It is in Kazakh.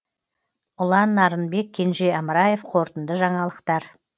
ұлан нарынбек кенже амраев қорытынды жаңалықтар